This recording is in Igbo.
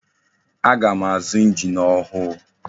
Aga m azu engine ọhụụ.